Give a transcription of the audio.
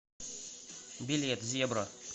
билет зебра